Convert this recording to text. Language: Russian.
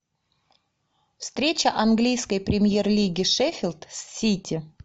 встреча английской премьер лиги шеффилд с сити